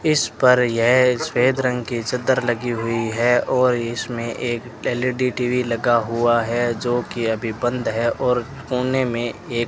इस पर यह सफेद रंग की चद्दर लगी हुई है और इसमें एक एल_इ_डी टी_वी लगा हुआ है जोकि अभी बंद है और कोने में एक --